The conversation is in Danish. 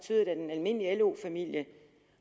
almindelig lo familie